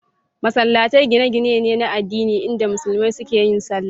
Masallatai gine-gine ne na addini inda musulmi suke yin sallah.